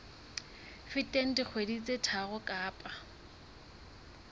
feteng dikgwedi tse tharo kapa